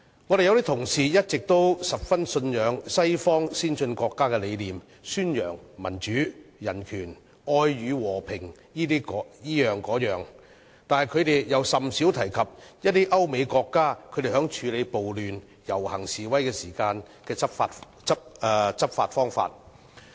我們有些同事一直十分信仰西方先進國家的理念，宣揚民主、人權、愛與和平等，但他們又甚少提及歐美國家在處理暴亂和遊行示威時的執法方法。